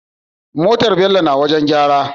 Motar bello na wajan gyara